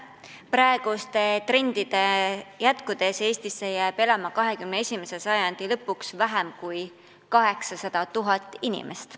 Praeguste trendide jätkudes elab Eestis 21. sajandi lõpuks vaevu 800 000 inimest.